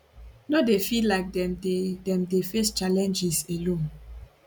no dey feel like dem dey dem dey face challenges alone